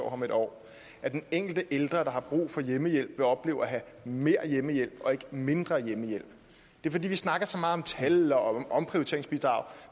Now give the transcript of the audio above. om et år at den enkelte ældre der har brug for hjemmehjælp vil opleve at have mere hjemmehjælp og ikke mindre hjemmehjælp det er fordi vi snakker så meget om tal og omprioriteringsbidrag